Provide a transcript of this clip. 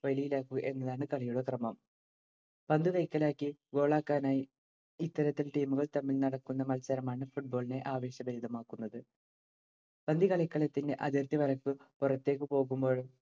വലയിലാക്കുക എന്നതാണ് കളിയുടെ ക്രമം‌. പന്തു കൈക്കലാക്കി goal ആക്കാനായി ഇത്തരത്തിൽ team ഉകൾ തമ്മിൽ നടക്കുന്ന മത്സരമാണ്‌ football ഇനെ ആവേശഭരിതമാക്കുന്നത്‌. പന്തു കളിക്കളത്തിന്‍റെ അതിർത്തി വരയ്ക്കു പുറത്തേക്ക് പോകുമ്പോഴോ